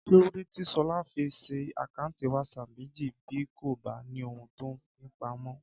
Kí lóde tí Ṣọlá fi ṣí àkáǹtì WhatsApp méjì bí kò bá ní ohun tó ń fi pamọ́?